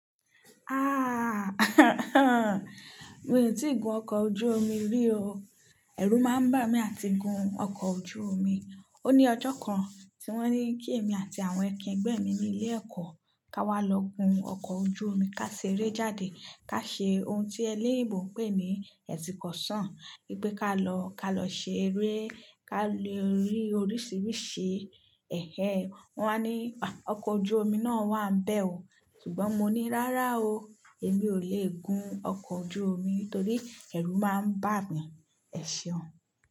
Ah, mi ò tíì gun ọkọ̀ ojú omi rí o. Ẹ̀rù máa ń bà mí àti gun ọkọ̀ ojú omi. Ó ní ọjọ́ kan tí wọ́n ní kí èmi àti àwọn ẹkin ẹgbẹ́ mi ní ilé ẹ̀kọ́, ká wá lọ gun ọkọ̀ ojú omi, ká ṣeré jáde, ká ṣe ohun tí ẹlẹ́yìì ìbò ń pè ní ẹṣìnkọsàn. Wípé ká lọ, ká lọ ṣe eré, ká lo rí oríṣiríṣi ẹ̀hẹ̀. Wọ́n wá ní, ọkọ̀ ojú omi náà wà ń bẹ́ ọ. Ṣùgbọ́n mo ní rárá o, èmi ò lè gun ọkọ̀ ojú omi nítorí ẹ̀rù máa ń bà mí. Ẹ ṣeun.